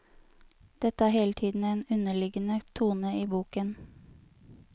Dette er hele tiden en underliggende tone i boken.